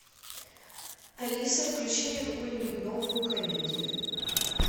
алиса включи мне какую нибудь новую комедию